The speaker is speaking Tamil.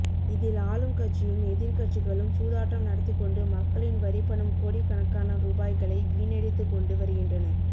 இதில் ஆளும் கட்சியும் எதிர் கட்சிகளும் சூதாட்டம் நடத்திக்கொண்டு மக்களின் வரிப்பணம் கோடிகணக்கான ரூபாய்களை வீணடித்துகொண்டு வருகின்றன